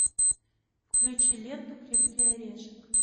включи ленту крепкий орешек